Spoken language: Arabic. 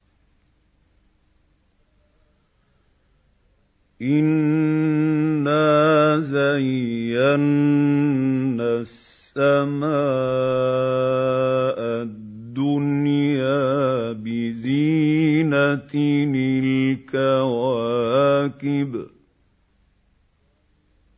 إِنَّا زَيَّنَّا السَّمَاءَ الدُّنْيَا بِزِينَةٍ الْكَوَاكِبِ